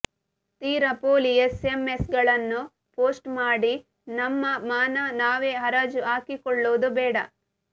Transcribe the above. ತೀರಾ ಪೋಲಿ ಎಸ್ಎಂಎಸ್ಗಳನ್ನು ಪೋಸ್ಟ್ ಮಾಡಿ ನಮ್ಮ ಮಾನ ನಾವೇ ಹರಾಜು ಹಾಕಿಕೊಳ್ಳುವುದು ಬೇಡ